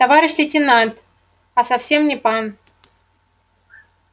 товарищ лейтенант а совсем не пан